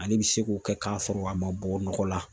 Ale bi se k'o kɛ k'a sɔrɔ a ma bɔ nɔgɔ la